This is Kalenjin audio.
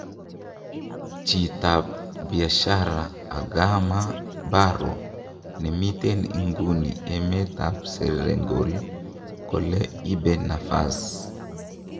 Chit ab biashara Adama Barrow nemiten inguni emet ab Senegal kogole ibe nafas.